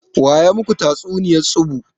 Waya maku tatsuniya tsubu?